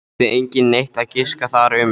Þurfti enginn neitt að giska þar um.